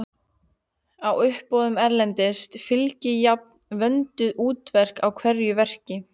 Á uppboðum erlendis fylgi jafnan vönduð úttekt á hverju verki